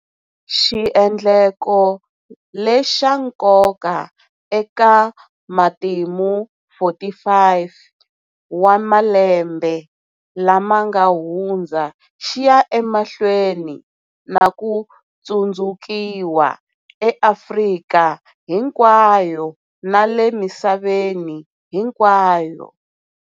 Xiendleko lexa nkoka eka matimu 45 wa malembe lama nga hundza xi ya emahlweni na ku tsundzukiwa eAfrika hinkwayo na le misaveni hinkwayo.